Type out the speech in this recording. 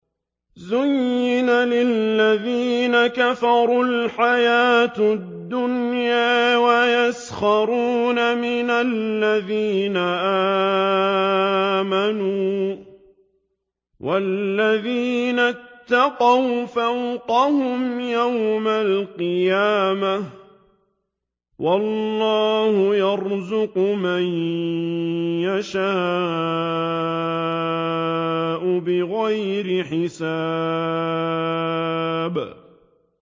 زُيِّنَ لِلَّذِينَ كَفَرُوا الْحَيَاةُ الدُّنْيَا وَيَسْخَرُونَ مِنَ الَّذِينَ آمَنُوا ۘ وَالَّذِينَ اتَّقَوْا فَوْقَهُمْ يَوْمَ الْقِيَامَةِ ۗ وَاللَّهُ يَرْزُقُ مَن يَشَاءُ بِغَيْرِ حِسَابٍ